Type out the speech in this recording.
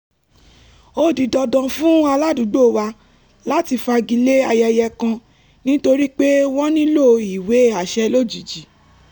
ó di dandan fún aládùúgbò wa láti fagilé ayẹyẹ kan nítorí pé wọ́n nílò ìwé àṣẹ lójijì